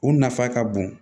U nafa ka bon